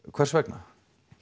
hvers vegna